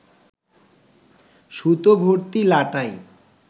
সুতোভর্তি লাটাই